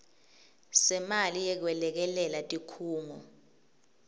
semali yekwelekelela tikhungo